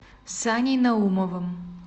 саней наумовым